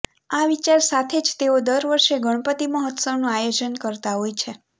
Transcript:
આ વિચાર સાથે જ તેઓ દર વર્ષે ગણપતિ મહોત્સવનું આયોજન કરતાં હોય છે